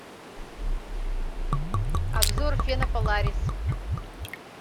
обзор фена поларис